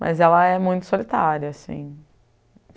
Mas ela é muito solitária assim.